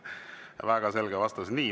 Väga selge vastus.